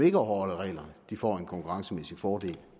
ikke overholder reglerne får en konkurrencemæssig fordel